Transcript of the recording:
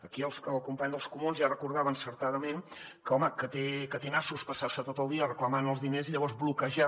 aquí el company dels comuns ja recordava encertadament que home té nassos passar se tot el dia reclamant els diners i llavors bloquejar